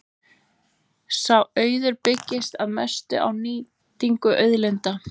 Sá auður byggðist að mestu á nýtingu auðlinda.